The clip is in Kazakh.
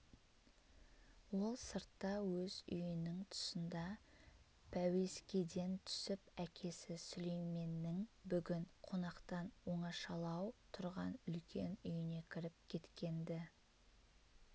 ол сыртта өз үйінің тұсында пәуескеден түсіп әкесі сүлейменнің бүгін қонақтан оңашалау тұрған үлкен үйіне кіріп кеткен-ді